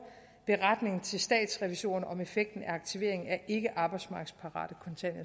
beretning til statsrevisorerne om effekten af aktivering af ikke arbejdsmarkedsparate